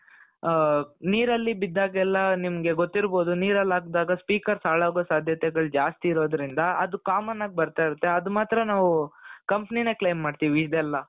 ಆo ನೀರಲ್ಲಿ ಬಿದ್ದಾಗೆಲ್ಲ ನಿಮಗೆ ಗೊತ್ತಿರಬಹುದು ನೀರಲ್ಲಿ ಹಾಕಿದಾಗ speakers ಹಾಳಾಗೋ ಸಾಧ್ಯತೆಗಳು ಜಾಸ್ತಿ ಇರೋದ್ರಿಂದ ಅದು commonಆಗಿ ಬರ್ತಾ ಇರುತ್ತೆ ಅದು ಮಾತ್ರ ನಾವು companyನೆ claim ಮಾಡ್ತೀವಿ ಇದೆಲ್ಲಾ